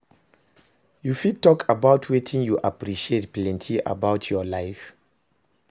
you fit talk about wetin you appreciate plenty about your life?